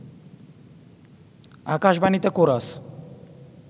আকাশবাণীতে chorus